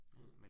Mh